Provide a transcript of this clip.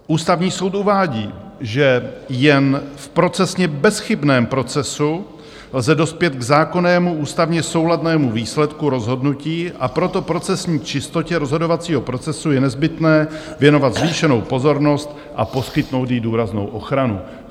Ústavní soud uvádí, že jen v procesně bezchybném procesu lze dospět k zákonnému ústavně souladnému výsledku rozhodnutí, a proto procesní čistotě rozhodovacího procesu je nezbytné věnovat zvýšenou pozornost a poskytnout jí důraznou ochranu.